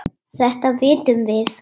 Þetta vitum við.